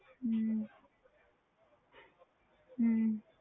ਹਮ ਹਮ